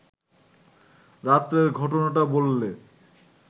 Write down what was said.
রাত্রের ঘটনাটা বললে